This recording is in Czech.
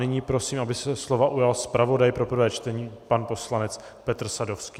Nyní prosím, aby se slova ujal zpravodaj pro prvé čtení pan poslanec Petr Sadovský.